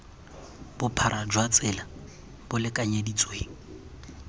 bophara jwa tsela bo lekanyeditsweng